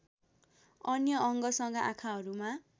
अन्य अङ्गसँग आँखाहरूमा